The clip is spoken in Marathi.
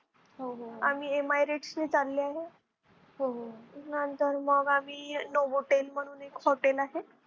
आम्ही Emirates ने चाललो आहे. नंतर मग आम्ही Novotel म्हणून एक hotel आहे.